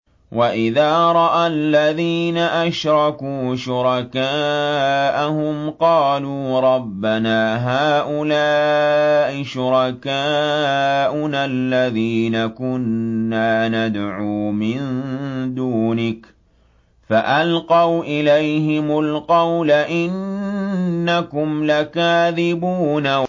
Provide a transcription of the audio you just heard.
وَإِذَا رَأَى الَّذِينَ أَشْرَكُوا شُرَكَاءَهُمْ قَالُوا رَبَّنَا هَٰؤُلَاءِ شُرَكَاؤُنَا الَّذِينَ كُنَّا نَدْعُو مِن دُونِكَ ۖ فَأَلْقَوْا إِلَيْهِمُ الْقَوْلَ إِنَّكُمْ لَكَاذِبُونَ